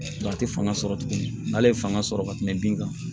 a tɛ fanga sɔrɔ tuguni n'ale ye fanga sɔrɔ ka tɛmɛ bin kan